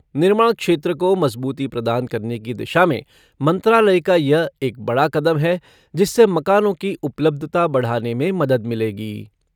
निर्माण क्षेत्र को मजबूती प्रदान करने की दिशा में मंत्रालय का यह एक बड़ा कदम है जिससे मकानों की उपलब्धता बढ़ाने में मदद मिलेगी।